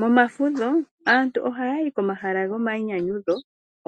Momafudho aantu oha ya yi komahala gomayinyanyudho,